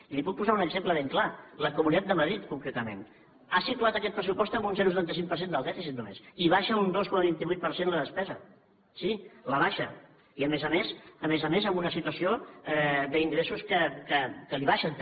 i li’n puc posar un exemple ben clar la comunitat de madrid concretament ha situat aquest pressupost amb un zero coma setanta cinc per cent del dèficit només i abaixa un dos coma vint vuit per cent la despesa sí l’abaixa i a més a més amb una situació d’ingressos que li baixen també